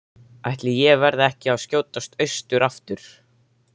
Ætli ég verði ekki að skjótast austur aftur.